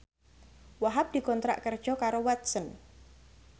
Wahhab dikontrak kerja karo Watson